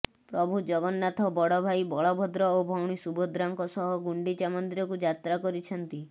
ପ୍ରଭୁ ଜଗନ୍ନାଥ ବଡ଼ ଭାଇ ବଳଭଦ୍ର ଓ ଭଉଣୀ ସୁଭଦ୍ରାଙ୍କ ସହ ଗୁଣ୍ଡିଚା ମନ୍ଦିରକୁ ଯାତ୍ରା କରିଛନ୍ତି